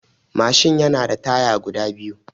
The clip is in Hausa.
Mashin yana da taya guda biyu